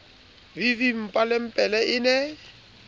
v v mmapelepele e ne